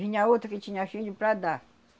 Vinha outra que tinha filho de para dar.